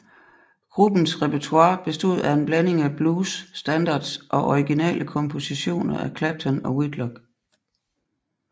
Gruppens repertoire bestod af en blanding af blues standards og originale kompositioner af Clapton og Whitlock